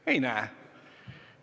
Ma neid ei näe.